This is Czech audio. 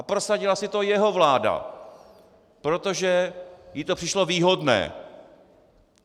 A prosadila si to jeho vláda, protože jí to přišlo výhodné.